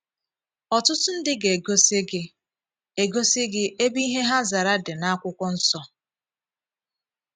Ọtụtụ ndị ga - egosi gị - egosi gị ebe ihe ha zara dị n'akwụkwọ nsọ.